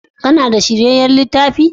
Kana da shiryayyan littafi?